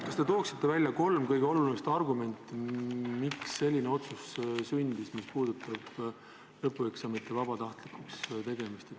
Kas te tooksite välja kolm kõige olulisemat argumenti, miks selline otsus sündis, mis puudutab lõpueksamite vabatahtlikuks tegemist?